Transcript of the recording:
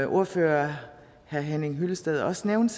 ordfører herre henning hyllested også nævnte